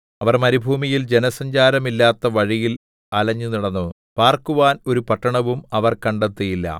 അവർ മരുഭൂമിയിൽ ജനസഞ്ചാരമില്ലാത്ത വഴിയിൽ അലഞ്ഞുനടന്നു പാർക്കുവാൻ ഒരു പട്ടണവും അവർ കണ്ടെത്തിയില്ല